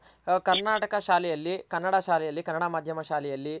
ಕರ್ನಾಟಕ ಶಾಲೆಯಲ್ಲಿ ಕನ್ನಡ ಶಾಲೆಯಲಿ ಕನ್ನಡ ಮಾಧ್ಯಮ ಶಾಲೆಯಲ್ಲಿ